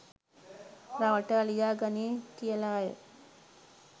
රවටා ලියා ගනියි කියලාය.